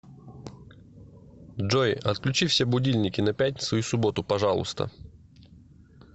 джой отключи все будильники на пятницу и субботу пожалуйста